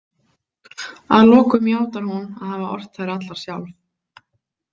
Að lokum játar hún að hafa ort þær allar sjálf.